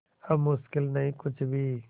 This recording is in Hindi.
अब मुश्किल नहीं कुछ भी